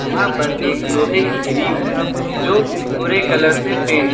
यहां पर एक लोहे की ग्रिल है जो भूरे कलर से पेंट --